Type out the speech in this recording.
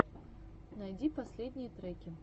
найди последние треки